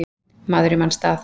Maður í manns stað